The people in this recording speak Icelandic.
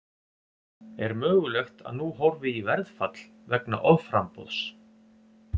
Er mögulegt að nú horfi í verðfall vegna offramboðs?